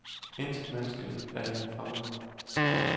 Intet menneskeligt er hende fremmed.